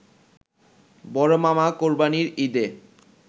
বড়মামা কোরবানির ঈদে